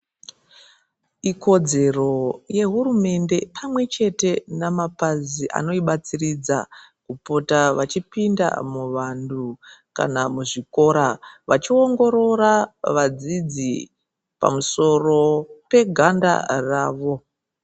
Ikodzero yehurumende pamwechete namapazi anoibatsiridza kupota vachipinda muvanhu kana kana muzvikora vachiongorora vadzidzi pamusoro peganda ravo.